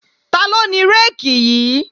Taló ni réèkì yí?